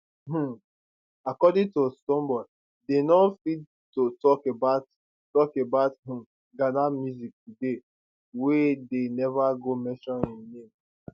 um according to stonebwoy dey no fit to tok about tok about um ghana music today wey dey neva go mention im name